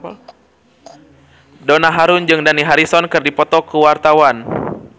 Donna Harun jeung Dani Harrison keur dipoto ku wartawan